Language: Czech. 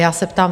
Já se ptám.